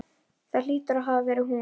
Það hlýtur að hafa verið hún.